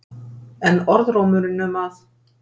En orðrómurinn um að